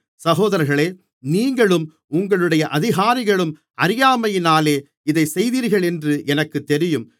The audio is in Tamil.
சகோதரர்களே நீங்களும் உங்களுடைய அதிகாரிகளும் அறியாமையினாலே இதைச் செய்தீர்களென்று எனக்குத் தெரியும்